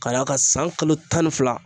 K'a d'a ka san kalo tan ni fila